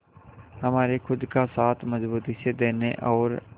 हमारे खुद का साथ मजबूती से देने और